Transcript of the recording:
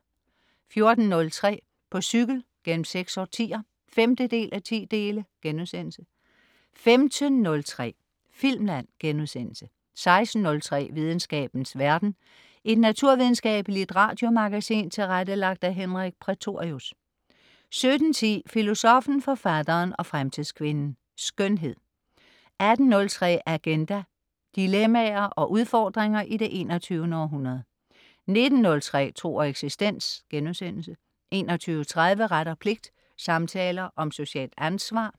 14.03 På cykel gennem seks årtier 5:10* 15.03 Filmland* 16.03 Videnskabens verden. Et naturvidenskabeligt radiomagasin tilrettelagt af Henrik Prætorius 17.10 Filosoffen, Forfatteren og Fremtidskvinden. Skønhed 18.03 Agenda. Dilemmaer og udfordringer i det 21. århundrede 19.03 Tro og eksistens* 21.30 Ret og pligt. Samtaler om socialt ansvar